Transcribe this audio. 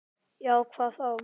Já, hvað þá?